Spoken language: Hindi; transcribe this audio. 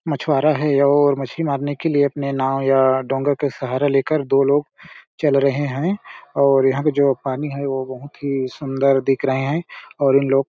मछवारा है और मछली मारने के लिए एक नाव या डोंगा के सहारा लेकर दो लोग चल रहे है और यहाँ पे जो पानी है वो बहुत ही सुन्दर दिख रहें है और इन लोग--